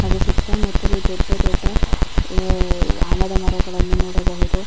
ಅದು ಸುತ್ತಮುತ್ತಲು ದೊಡ್ಡ ದೊಡ್ಡ ಅಹ್ ಆಲದ ಮರಗಳನ್ನು ನೋಡಬಹುದು.